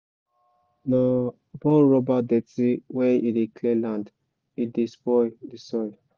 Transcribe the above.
na burn rubber dirty when you dey clear land e dey spoil the soil